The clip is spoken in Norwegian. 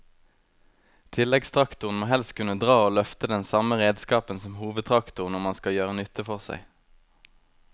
Tilleggstraktoren må helst kunne dra og løfte den samme redskapen som hovedtraktoren om han skal gjøre nytte for seg.